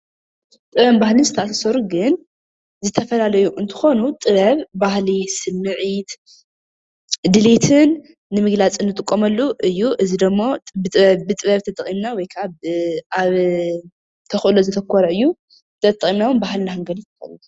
ጥበብን ባህልን ዘተኣሳሰሩ ግን ዝተፈላለዩ እንትኮኑ ጥበብ ባህሊ ስሚዒት ድሊትን ንምግላፅን ንጥቀመሉ እዩ። እዚ ድማ ብጥበብ ተጠቂምና ወይ ከዓ ኣብ ተክእሎ ዘተኮረ እዩ። ጥበብ ተጠቂምና እውን ባህልና ክንገልፅ ንክእል ኢና። ።